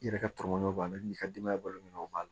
I yɛrɛ ka tɔmɔnɔ b'a la i ka denbaya balo minɛn o b'a la